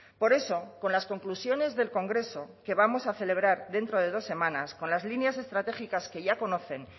por eso con las conclusiones del congreso que vamos a celebrar dentro de dos semanas con las líneas estratégicas que ya conocen